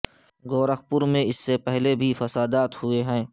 گورکھ پور میں اس سے پہلے بھی فسادات ہوئے ہیں